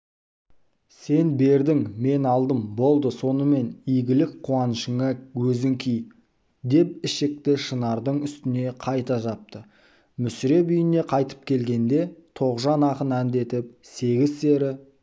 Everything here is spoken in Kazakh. сен бердің мен алдым болды сонымен игілік-қуанышыңа өзің ки деп ішікті шынардың үстіне қайта жапты мүсіреп үйіне қайтып келгенде тоғжан ақын әндетіп сегіз-сері